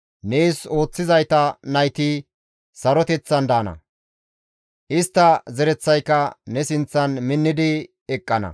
Nees ooththizayta nayti saroteththan daana; istta zereththayka ne sinththan minni eqqana.